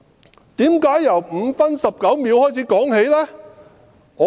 他為甚麼要由5分19秒起計？